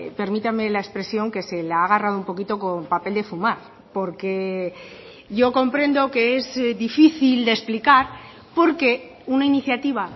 permítame la expresión que se la ha agarrado un poquito con papel de fumar porque yo comprendo que es difícil de explicar porque una iniciativa